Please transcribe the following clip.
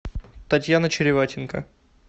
татьяна череватенко